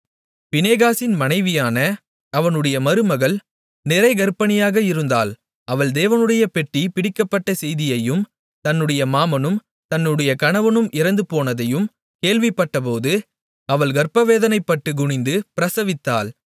பினெகாசின் மனைவியான அவனுடைய மருமகள் நிறைகர்ப்பிணியாக இருந்தாள் அவள் தேவனுடைய பெட்டி பிடிபட்ட செய்தியையும் தன்னுடைய மாமனும் தன்னுடைய கணவனும் இறந்து போனதையும் கேள்விப்பட்டபோது அவள் கர்ப்பவேதனைப்பட்டு குனிந்து பிரசவித்தாள்